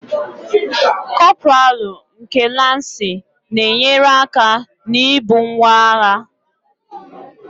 Kọpraalụ nke Lansị na-enyere aka na-ibu ngwaagha